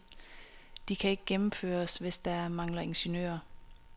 De kan ikke gennemføres, hvis der mangler ingeniører.